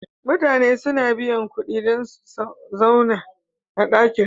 Mutane suna biya kuɗi dan su sauna a ɗakin haya.